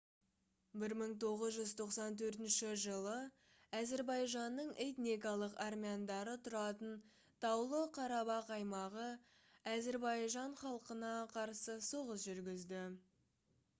1994 жылы әзірбайжанның этникалық армяндары тұратын таулы қарабақ аймағы әзірбайжан халқына қарсы соғыс жүргізді